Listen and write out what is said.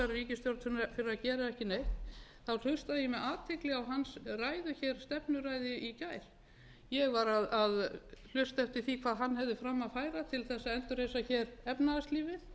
ríkisstjórn fyrir að gera ekki neitt þá hlustaði ég með athygli á hans ræðu hér stefnuræðu í gær ég var að hlusta eftir því hvað hann hefði fram að færa til þess að endurreisa hér efnahagslífið